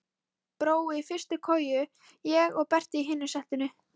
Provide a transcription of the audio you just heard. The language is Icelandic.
Brói í fyrstu koju, ég og Berti í hinu settinu.